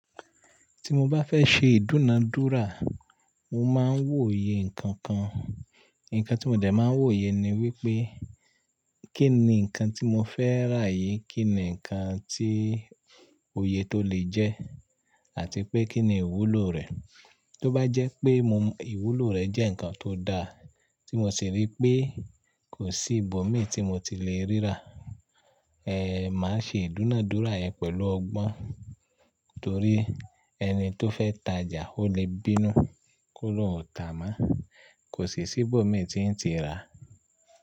Tí mo bá fẹ́ ṣe ìdúnadúrà, mo máa ń wòye nǹkan kan. Nǹkan tí mo dẹ̀ máa ń wòye ni wípé kínni nǹkan tí mo fẹ́ rà yìí, kí ni nǹkan tí òye tó le jẹ́ àti pé kí ni ìwúlò rẹ̀. Tí ó bá jẹ́ pé mo m ìwúlò rẹ̀ jẹ́ ǹkan tó dáa tí mo sì ríi pé kò sí ìbòmíì tí mo ti le ríra, ẹ́, màá ṣe ìdúnadúrà yẹn pẹ̀lú ọgbọ́n. Nítorí ẹni tó fẹ́ tajà ó le bínú k'ólóun ò tà mọ́. Kò sì sí ìbòmíì tí ń ti ràá.